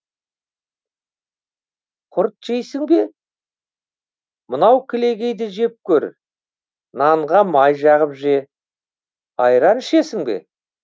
құрт жейсің бе мынау кілегейді жеп көр нанға май жағып же айран ішесің бе